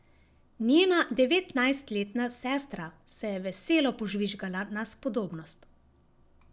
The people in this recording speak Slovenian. Njena devetnajstletna sestra se je veselo požvižgala na spodobnost.